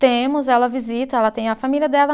Temos, ela visita, ela tem a família dela.